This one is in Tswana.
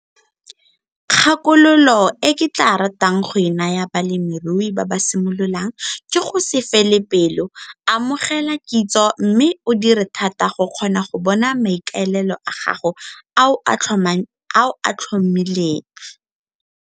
Kgakologo e ke tlaa ratang go e naya balemirui ba ba simololang ke go se fele pelo, amogela kitso mme o dire thata go kgona go bona maikaelelo a gago a o a tlhomileng.